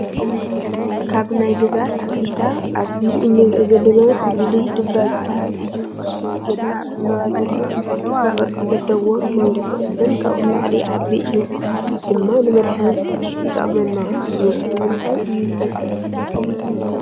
ካብ ናይ ገዛ ተክሊታ ኣብዚ እንሪኦ ዘለና ተክሊ ድባ ዝበሃል እዩ። ገና ኣብ ዕንበባ ዘሎ እዩ። ድባ ክቢ ቅርፂ ዘለዎ ክንዲ ኩዕሾን ካብኡ ንላዕሊ ይዓቢ እዩ። ድማ ንመድሓኒት ይጠቅመና እዩ ንምንታይ እዩ ዝጠቅም ?